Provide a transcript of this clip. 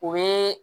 U bɛ